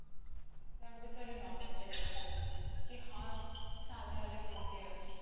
ତାଙ୍କ ବିଷୟରେ ନ ପଚାରି ପାରନ୍ତୁ କି ହଁ କି ସାମନା ବାଲା କେମତି ଅଛି,